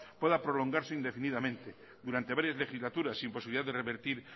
pueda prolongarse indefinidamente durante varias legislaturas sin posibilidad de revertir